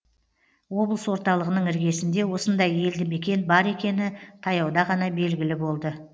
облыс орталығының іргесінде осындай елді мекен бар екені таяуда ғана белгілі болды